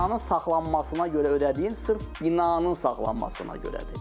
Binanın saxlanmasına görə ödədiyin sırf binanın saxlanmasına görədir.